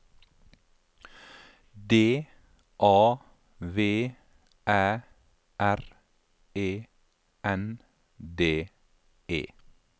D A V Æ R E N D E